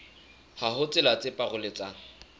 ha ho tsela tse paroletsang